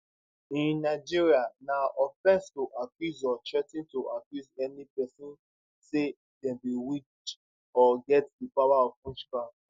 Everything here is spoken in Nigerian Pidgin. in nigeria na offence to accuse or threa ten to accuse any person say dem be witch or get di power of witchcraft